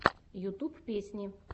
ютуб песни